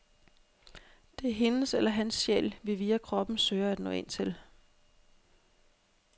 Det er hendes eller hans sjæl, vi via kroppen søger at nå ind til.